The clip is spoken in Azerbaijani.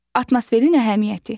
Atmosferin əhəmiyyəti.